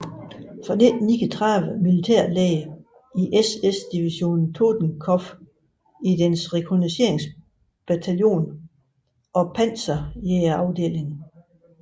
Fra 1939 militærlæge i SS Division Totenkopf i dets rekognosceringsbataljon og panserjægerdeling